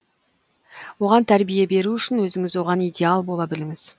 оған тәрбие беру үшін өзіңіз оған идеал бола біліңіз